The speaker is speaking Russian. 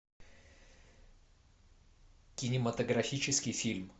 кинематографический фильм